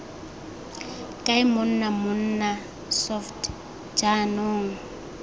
kae monna mmona soft jaanong